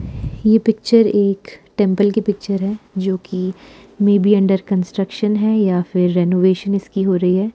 ये पिक्चर एक टेंपल की पिक्चर है जो कि मे बि अंडर कंस्ट्रक्शन है या फिर रेनोवेशन इसकी हो रही हैं।